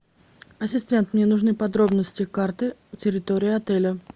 ассистент мне нужны подробности карты территории отеля